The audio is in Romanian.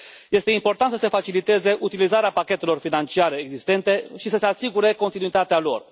Este important să se faciliteze utilizarea pachetelor financiare existente și să se asigure continuitatea lor.